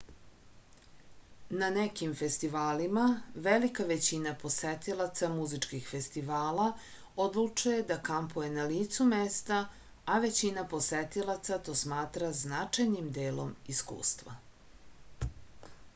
na nekim festivalima velika većina posetilaca muzičkih festivala odlučuje da kampuje na licu mesta a većina posetilaca to smatra značajnim delom iskustva